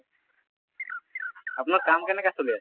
আপোনাৰ কাম কেনেকুৱা চলি আছে?